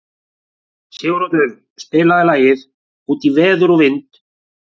Siguroddur, spilaðu lagið „Út í veður og vind“.